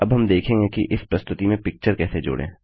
अब हम देखेंगे कि इस प्रस्तुति में पिक्चर कैसे जोड़ें